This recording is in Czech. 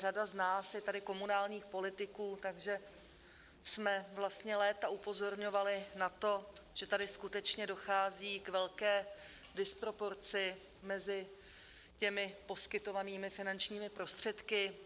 Řada z nás je tady komunálních politiků, takže jsme vlastně léta upozorňovali na to, že tady skutečně dochází k velké disproporci mezi těmi poskytovanými finančními prostředky.